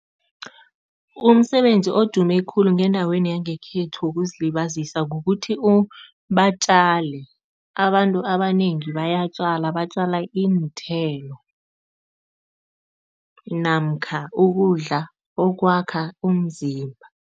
Umsebenzi odume khulu ngendaweni yangekhethu wokuzilibazisa kukuthi batjale. Abantu abanengi bayatjala, batjala iinthelo namkha ukudla okwakha umzimba.